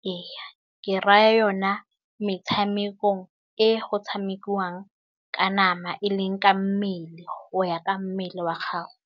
Ee ke raya yone metshamekong e go tshamekiwang ka nama e leng ka mmele o ya ka mmele wa gago.